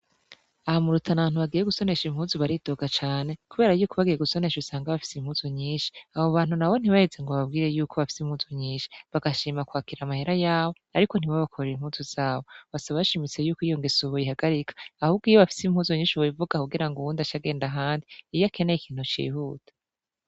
Aho mu Rutanantu abantu bagiye gusonesha impuzu baridoga cane kubera yuko bagiye gusonesha usanga bafise impuzu nyishi abo bantu na bo ntibaheze ngo bababwire yuko bafise impuzu nyishi bagashima kwakira amahera yabo ariko ntiba bakorere impuzu zabo basaba bashimitse yuko iyo ngeso boyihagarika ahubwo iyo bafise impuzu nyishi bo bivuga kugira ngo uwundi acagenda ahandi iyakeneye ikintu cihuta.